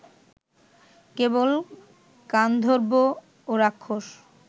কেবল গান্ধর্ব ও রাক্ষস